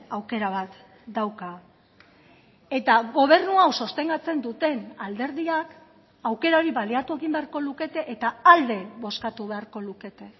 aukera bat dauka eta gobernu hau sostengatzen duten alderdiak aukera hori baliatu egin beharko lukete eta alde bozkatu beharko lukete